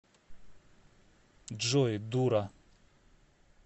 джой дура